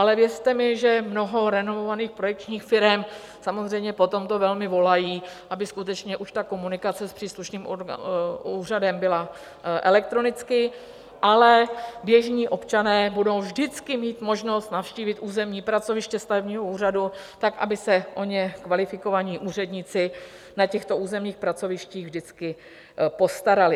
Ale věřte mi, že mnoho renomovaných projekčních firem samozřejmě po tomto velmi volají, aby skutečně už ta komunikace s příslušným úřadem byla elektronicky, ale běžní občané budou vždycky mít možnost navštívit územní pracoviště stavebního úřadu tak, aby se o ně kvalifikovaní úředníci na těchto územních pracovištích vždycky postarali.